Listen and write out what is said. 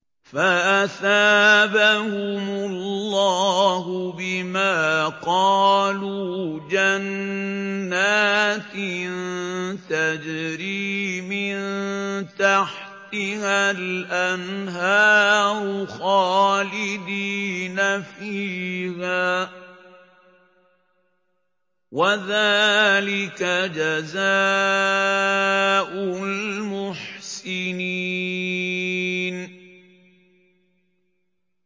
فَأَثَابَهُمُ اللَّهُ بِمَا قَالُوا جَنَّاتٍ تَجْرِي مِن تَحْتِهَا الْأَنْهَارُ خَالِدِينَ فِيهَا ۚ وَذَٰلِكَ جَزَاءُ الْمُحْسِنِينَ